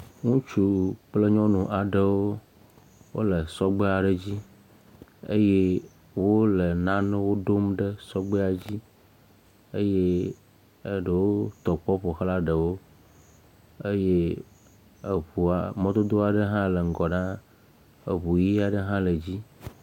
Nutsu kple nyɔnu aɖewo wole sɔgbe aɖe dzi eye wole nanewo ɖom ɖe sɔgbea dzi. Eye eɖe wo tɔ kpɔ ƒo ʋlã eɖewo eye eŋua mɔdodo aɖe hã le ŋgɔ ɖaa, eŋu ʋi aɖe hã le edzi.